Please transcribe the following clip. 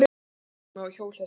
Kona á hjólhesti?